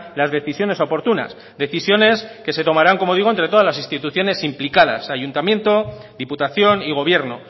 las decisiones oportunas decisiones que se tomaran como digo entre todas las instituciones implicadas ayuntamiento diputación y gobierno